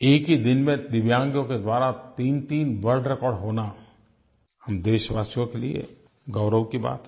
एक ही दिन में दिव्यांगों के द्वारा तीनतीन वर्ल्ड रेकॉर्ड होना हम देशवासियों के लिए गौरव की बात है